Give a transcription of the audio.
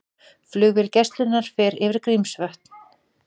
Flugvél Gæslunnar fer yfir Grímsvötn